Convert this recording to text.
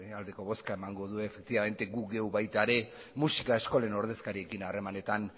aldeko bozka emango du gu geuk baita ere musika eskolen ordezkariekin harremanetan